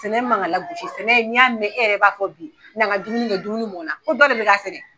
Sɛnɛ man kan ka lagosi n'i y'a mɛn e yɛrɛ b'a fɔ bi n'an ka dumuni kɛ dumuni mɔn na n ko dɔ de bɛ ka sɛnɛ.